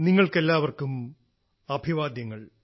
നിങ്ങൾക്കെല്ലാവർക്കും അഭിവാദ്യങ്ങൾ